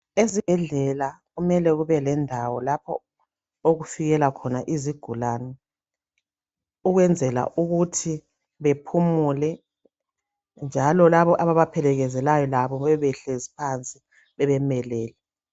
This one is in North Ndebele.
Ezibhedlela kumele kube lendawo lapho okufikela khona izigulani ukwenzela ukuthi bephumule njalo labo ababaphelekezelayo labo bebe behlezi phansi bebemelele